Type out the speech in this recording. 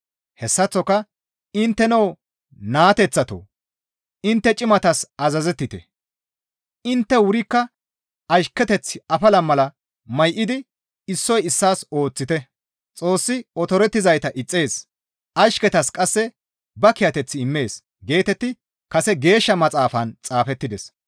Hessaththoka intteno naateththatoo! Intte cimatas azazettite; intte wurikka ashketeth afala mala may7idi issoy issaas ooththite. «Xoossi otorizayta ixxees; ashketas qasse ba kiyateth immees» geetetti kase Geeshsha Maxaafan xaafettides.